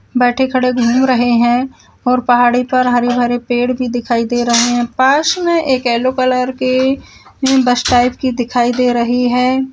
बैठे खड़े घूम रहे हैं और पहाड़ी पर हरी भरी पेड़ भी दिखाई दे रहे हैं पास में एक येलो कलर के बस टाइप की दिखाई दे रही है।